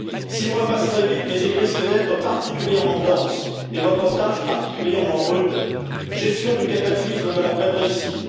Six mois passent très vite, mais ils risquent d'être particulièrement denses, et votre tâche, particulièrement rude gestion du cataclysme de l'après Brexit